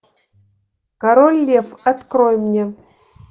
король лев открой мне